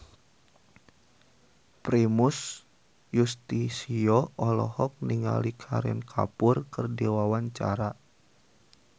Primus Yustisio olohok ningali Kareena Kapoor keur diwawancara